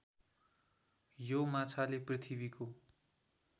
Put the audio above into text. यो माछाले पृथ्वीको